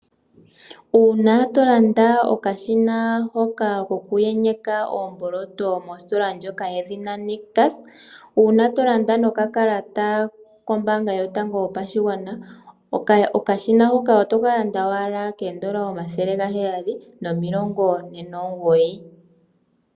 Una to landa okashina hoka kouku yenyeka oomboloto mositola ndjoka yedhina Nictus, una to landa nokakalata kombanga yotango yopashigwana okashina hoka otoka landa owala koodollar omathele gaheyali nomilongo ne nomugoyi.